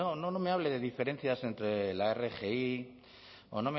no me hable de diferencias entre la rgi o